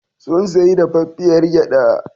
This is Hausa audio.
Sun sayi dafaffiyar gyaɗa.